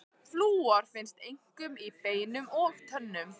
Flúor finnst einkum í beinum og tönnum.